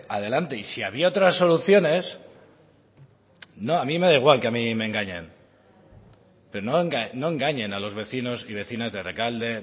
adelante y si habría otras soluciones a mí me da igual que a mí me engañan pero no engañen a los vecinos y vecinas de rekalde